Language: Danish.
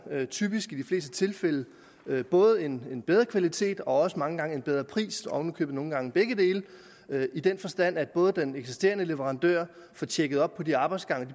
typisk i de fleste tilfælde både en bedre kvalitet og også mange gange en bedre pris oven i købet nogle gange begge dele i den forstand at både den eksisterende leverandør får tjekket op på de arbejdsgange og